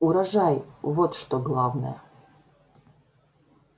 урожай вот что главное